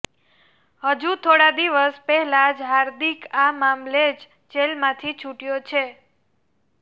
હજુ થોડા દિવસ પહેલા જ હાર્દિક આ મામલે જ જેલમાંથી છૂટ્યો છે